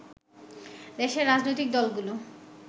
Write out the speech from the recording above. দেশের রাজনৈতিক দলগুলো